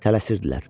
Tələsirdilər.